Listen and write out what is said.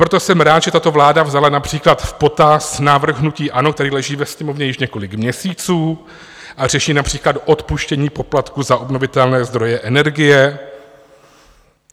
Proto jsem rád, že tato vláda vzala například v potaz návrh hnutí ANO, který leží ve Sněmovně již několik měsíců a řeší například odpuštění poplatku za obnovitelné zdroje energie.